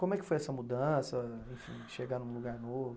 Como é que foi essa mudança, enfim, chegar num lugar novo?